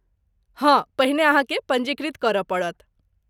हँ, पहिने अहाँकेँ पञ्जीकृत करय पड़त।